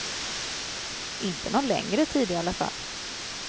Inte någon längre tid i alla fall.